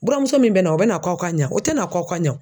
Buramuso min bɛna o bɛna k'aw ka ɲa o tɛna k'aw ka ɲa